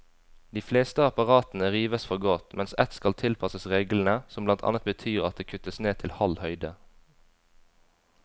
De fleste apparatene rives for godt, mens ett skal tilpasses reglene, som blant annet betyr at det kuttes ned til halv høyde.